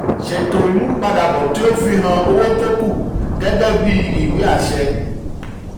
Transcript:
ṣètò ìmúpadàbọ̀ tí ó fihan owó kù gẹ́gẹ́ bí ìwé àṣẹ.